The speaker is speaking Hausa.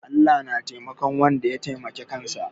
Allah na taimakon wanda ya taimaki kansa.